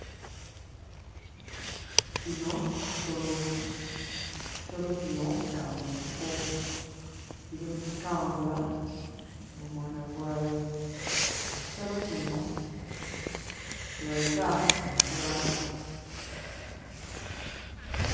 Kino kisolo, kisolo kino kya mu nsiko kiri mu kutambula n'omwana gwayo. Ekisolo kino kye bayita enkula.